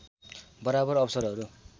बराबर अवसरहरू